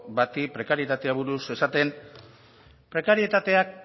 bati prekarietateari buruz esaten prekarietateak